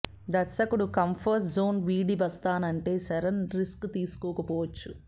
దర్శకుడు comfort zone వీడి వస్తానంటే చరణ్ రిస్క్ తీసుకోకపోవచ్చు